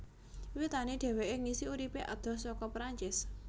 Wiwitané dheweké ngisi uripé adoh saka Perancis